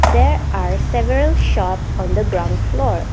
there are several shop on the ground floor.